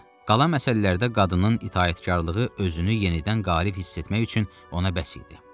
Qalan məsələlərdə qadının itaətkarlığı özünü yenidən qərib hiss etmək üçün ona bəs idi.